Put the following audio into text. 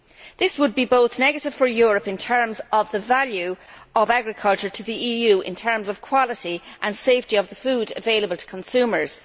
This would be negative for Europe both in terms of the value of agriculture to the EU and in terms of the quality and safety of the food available to consumers.